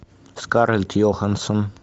скарлетт йохансен